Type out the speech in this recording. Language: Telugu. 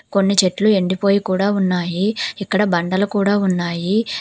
కొన్ని చెట్లు ఎండిపోయి కూడా ఉన్నాయి. ఇక్కడ బండలు కూడా ఉన్నాయి.